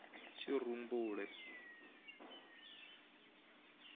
tshirumbule